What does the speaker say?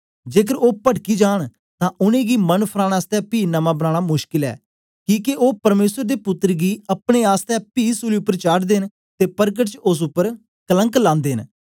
जेकर ओ पडकी जांन तां उनेंगी मन फराने आसतै पी नमां बनाना मुश्कल ऐ किके ओ परमेसर दे पुत्तर गी अपने आसतै पी सूली उपर चाढ़दे न ते परकट च ओस उपर कलंक लांदे न